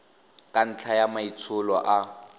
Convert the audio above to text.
ka ntlha ya maitsholo a